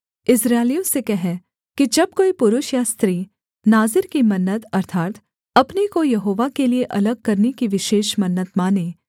इस्राएलियों से कह कि जब कोई पुरुष या स्त्री नाज़ीर की मन्नत अर्थात् अपने को यहोवा के लिये अलग करने की विशेष मन्नत माने